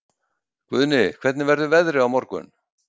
Guðni, hvernig verður veðrið á morgun?